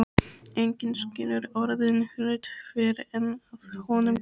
Enginn skilur orðinn hlut fyrr en að honum kemur.